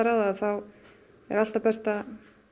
þá er alltaf best að